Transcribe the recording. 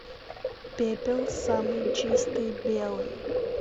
пепел самый чистый белый